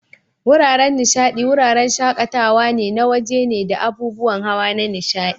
Wuraren nishadi, wuraren shaƙatawa na waje ne da abubuwan hawa na nishaɗi.